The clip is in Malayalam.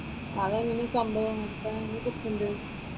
അതെങ്ങനെയാ സംഭവം? എത്ര നാളത്തെ കോഴ്സ് ഉണ്ട്?